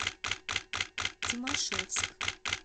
тимашевск